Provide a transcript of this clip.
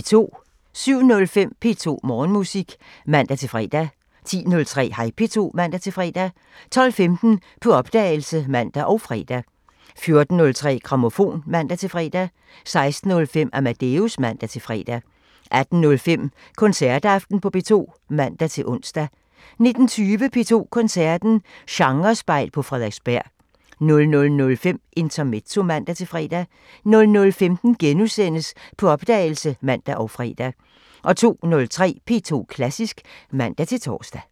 07:05: P2 Morgenmusik (man-fre) 10:03: Hej P2 (man-fre) 12:15: På opdagelse (man og fre) 14:03: Grammofon (man-fre) 16:05: Amadeus (man-fre) 18:05: Koncertaften på P2 (man-ons) 19:20: P2 Koncerten – Genrespejl på Frederiksberg 00:05: Intermezzo (man-fre) 00:15: På opdagelse *(man og fre) 02:03: P2 Klassisk (man-tor)